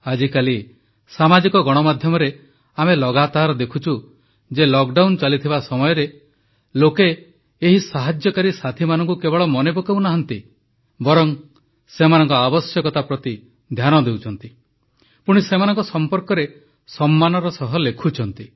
ଆଜିକାଲି ସାମାଜିକ ଗଣମାଧ୍ୟମ ସୋସିଆଲ୍ Mediaରେ ଆମେ ଲଗାତର ଦେଖୁଛୁ ଯେ ଲକଡାଉନ୍ ଲକଡାଉନ ଚାଲିଥିବା ସମୟରେ ଲୋକେ ଏହି ସାହାଯ୍ୟକାରୀ ସାଥୀମାନଙ୍କୁ କେବଳ ମନେ ପକାଉନାହାନ୍ତି ବରଂ ସେମାନଙ୍କ ଆବଶ୍ୟକତା ପ୍ରତି ଧ୍ୟାନ ଦେଉଛନ୍ତି ପୁଣି ସେମାନଙ୍କ ସମ୍ପର୍କରେ ସମ୍ମାନର ସହ ଲେଖୁଛନ୍ତି